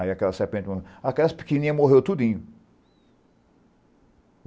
Aí aquela serpente... Aquelas pequenininhas morreu tudinho.